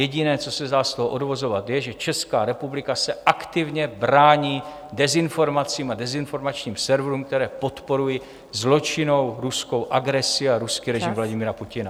Jediné, co se dá z toho odvozovat, je, že Česká republika se aktivně brání dezinformacím a dezinformačním serverům, které podporují zločinnou ruskou agresi a ruský režim Vladimíra Putina.